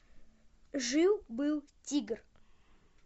жил был тигр